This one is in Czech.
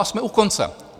A jsme u konce.